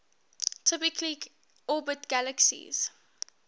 typically orbit galaxies